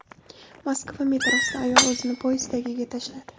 Moskva metrosida ayol o‘zini poyezd tagiga tashladi.